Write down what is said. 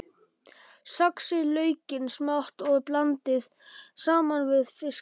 Saxið laukinn smátt og blandið saman við fiskinn.